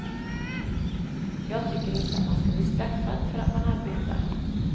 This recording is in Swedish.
Jag tycker inte att man ska bli straffad för att man arbetar.